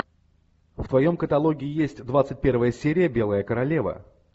в твоем каталоге есть двадцать первая серия белая королева